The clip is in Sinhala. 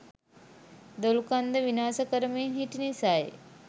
දොළුකන්ද විනාශ කරමින් හිටි නිසයි.